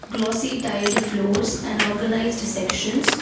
glossy tiled floors and organized sections.